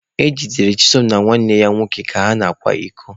E jidere Chisom na nwanne ya nwoke ka ha na-akwa iko